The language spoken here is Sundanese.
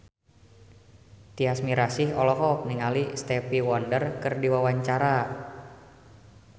Tyas Mirasih olohok ningali Stevie Wonder keur diwawancara